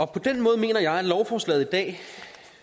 på den måde mener jeg at lovforslaget